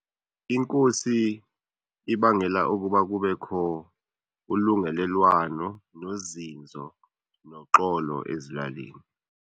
Inkosi ibangela ukuba kubekho ulungelelwano nozinzo noxolo ezilalini.